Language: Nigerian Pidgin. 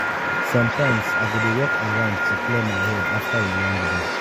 sometimes i go dey walk around to clear my head after a long day.